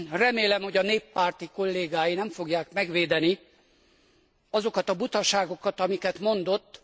Remélem, hogy a néppárti kollégái nem fogják megvédeni azokat a butaságokat, amiket mondott.